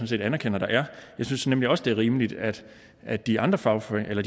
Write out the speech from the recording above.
set anerkender der er jeg synes nemlig også det er rimeligt at at de andre fagforeninger